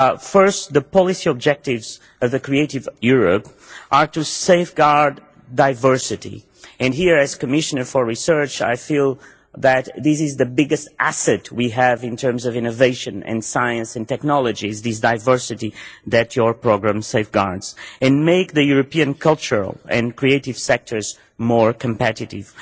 First, the policy objectives of Creative Europe are to safeguard diversity and here, as Commissioner for Research, I feel that this is the biggest asset we have in terms of innovation and science and technology, this diversity that your programme safeguards and make the European cultural and creative sectors more competitive.